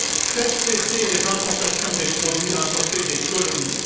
Faites cesser les importations des produits importés des colonies.